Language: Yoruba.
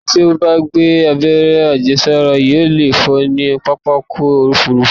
Ẹni tí ó bá gba àberẹ́ àjẹsára yóò lè fò ní pápákọ̀-òfurufú.